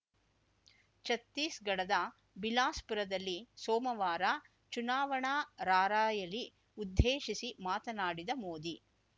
ಛತ್ತೀಸ್‌ಗಢದ ಬಿಲಾಸ್‌ಪುರದಲ್ಲಿ ಸೋಮವಾರ ಚುನಾವಣಾ ರಾರ‍ಯಲಿ ಉದ್ದೇಶಿಸಿ ಮಾತನಾಡಿದ ಮೋದಿ